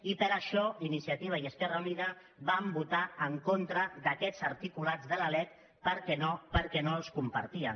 i per això iniciativa i esquerra unida vam votar en contra d’aquests articulats de la lec perquè no els compartíem